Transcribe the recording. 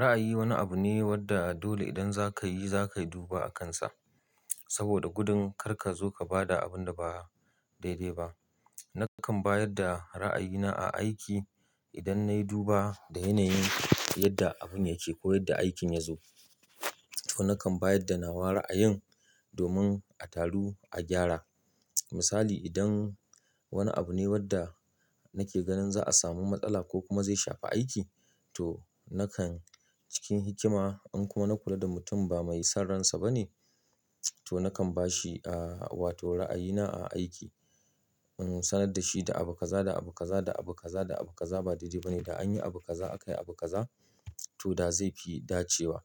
Ra'ayi wani abu ne wanda dole idan za ka yi, za ka duba a kansa. Saboda gudun kar ka zo ka ba da abun da ba daidai ba. Nakan ba yadda ra'ayina a aiki idan na yi duba da yanayin yadda abun yake ko yadda aikin ya zo. To, nakan ba yadda nawa ra'ayin domin a taru a gyara. Misali, idan wani abu ne wanda nake ganin za a samu matsala ko kuma zai shafa aiki, to nakan cikin hikima in kuma na kula da mutum ba mai saransa ba ne, to nakan ba shi, ah, wato ra'ayina a aiki. In nusa nan da shi da abu kaza da abu kaza da abu kaza da abu kaza ba daidai ba ne. Da an yi abu kaza aka yi abu kaza to da zai fi dacewa.